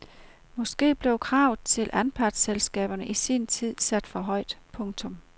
Måske blev kravet til anpartsselskaberne i sin tid sat for højt. punktum